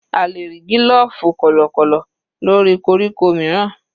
A lè rí gílòfù kọ̀lọ̀kọ̀lọ̀ lórí koríko mìíràn.